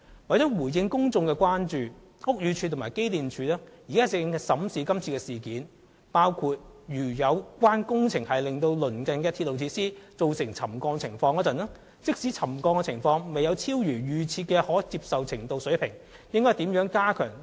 為回應公眾的關注，屋宇署和機電署現正審視今次事件，包括如果有關工程令鄰近的鐵路設施出現沉降，即使沉降情況未有超逾預設的可接受程度，部門之間應如何加強溝通。